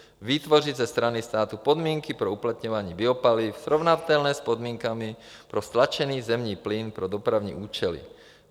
vytvořit ze strany státu podmínky pro uplatňování biopaliv srovnatelné s podmínkami pro stlačený zemní plyn pro dopravní účely;